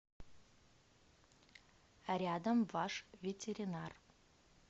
рядом ваш ветеринар